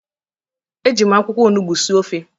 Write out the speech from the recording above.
Eji m akwụkwọ onugbu sie ofe